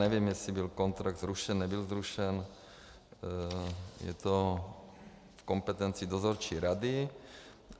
Nevím, jestli byl kontrakt zrušen, nebyl zrušen, je to v kompetenci dozorčí rady.